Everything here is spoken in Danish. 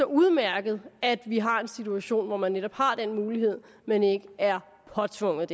udmærket at vi har en situation hvor man netop har den mulighed men ikke er påtvunget